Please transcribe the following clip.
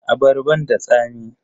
Abarban da tsami?